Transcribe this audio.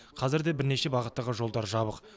қазір де бірнеше бағыттағы жолдар жабық